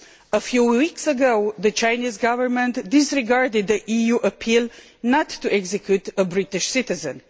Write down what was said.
A few weeks ago, the Chinese Government disregarded an EU appeal not to execute a British citizen.